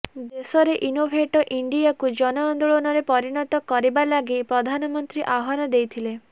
ଦେଶରେ ଇନୋଭେଟ ଇଣ୍ଡିଆକୁ ଜନ ଆନ୍ଦୋଳନରେ ପରିଣତ କରିବା ଲାଗି ପ୍ରଧାନମନ୍ତ୍ରୀ ଆହ୍ୱାନ ଦେଇଥିଲେ